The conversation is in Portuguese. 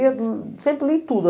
Eu sempre leio tudo.